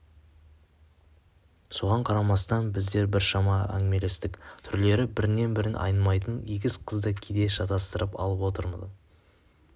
соған қарамастан біздер біршама әңгімелестік түрлері бір-бірінен айнымайтын егіз қызды кейде шатастырып алып отырдым